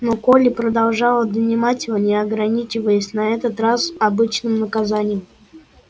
но колли продолжала донимать его не ограничиваясь на этот раз обычным наказанием